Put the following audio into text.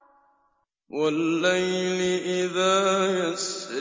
وَاللَّيْلِ إِذَا يَسْرِ